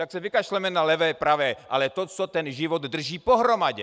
Tak se vykašleme na levé pravé, ale to, co ten život drží pohromadě.